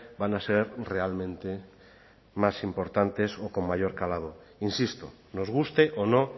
van a ser realmente más importantes o con mayor calado insisto nos guste o no